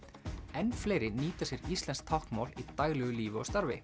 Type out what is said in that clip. enn fleiri nýta sér íslenskt táknmál í daglegu lífi og starfi